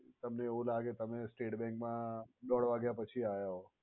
તમને એવું લાગે તમે state bank મા દોઢ વાગ્યા પછી આયા હોવ.